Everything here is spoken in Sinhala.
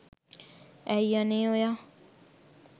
ඇයි අනේ ඔයා